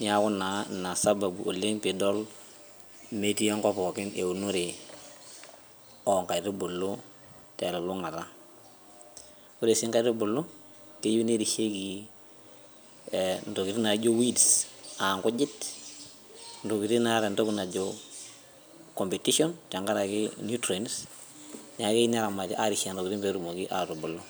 neyaku naa Ina sababu oleng' piidol metii enkop pookin eunore oo nkaitubulu telulung'ata oree sii inkaitubulu keyieu nerishieki intokiting' naijo weeds aa nkujit ntokiting' nataa intokiting' naijo competition naijo tenkaraki nutrients naa keyeu neramati pee erishie intokiting' naijo nena.